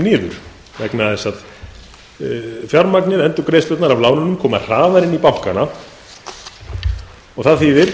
niður vegna þess að endurgreiðslurnar af lánunum koma hraðar inn í bankana og það þýðir